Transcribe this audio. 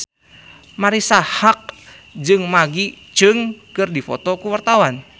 Marisa Haque jeung Maggie Cheung keur dipoto ku wartawan